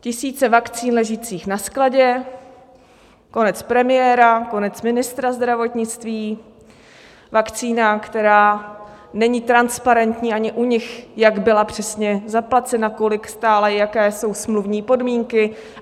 Tisíce vakcín ležících na skladě, konec premiéra, konec ministra zdravotnictví, vakcína, která není transparentní ani u nich, jak byla přesně zaplacena, kolik stála, jaké jsou smluvní podmínky.